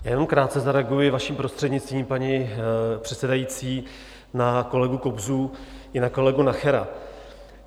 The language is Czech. Já jenom krátce zareaguji, vaším prostřednictvím, paní předsedající, na kolegu Kobzu i na kolegu Nachera.